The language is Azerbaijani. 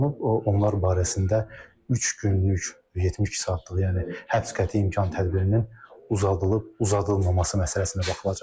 Onlar barəsində üç günlük, 72 saatlıq, yəni həbs qəti imkan tədbirinin uzadılıb-uzadılmaması məsələsinə baxılacaq.